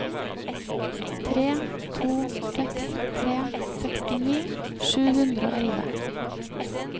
tre to seks tre sekstini sju hundre og elleve